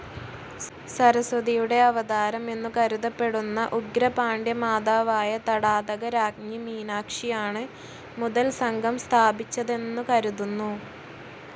സരസ്വതിയുടെ അവതാരം എന്നുകരുതപ്പെടുന്ന ഉഗ്രപാണ്ഡ്യ മാതാവായ തടാതക രാജ്ഞി മീനാക്ഷിയാണ് മുതൽസംഘം സ്ഥാപിച്ചതെന്നുകരുതുന്നു.